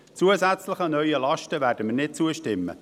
Zusätzlichen neuen Lasten werden wir nicht zustimmen.